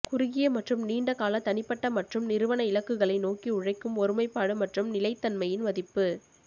குறுகிய மற்றும் நீண்ட கால தனிப்பட்ட மற்றும் நிறுவன இலக்குகளை நோக்கி உழைக்கும் ஒருமைப்பாடு மற்றும் நிலைத்தன்மையின் மதிப்பு